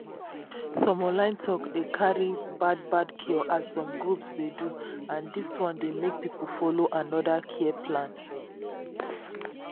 some online talk dey carry bad bad cure as some groups dey do and dis one dey make people follow another care plan.